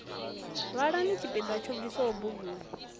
vhalani tshipiḓa tsho bviswaho buguni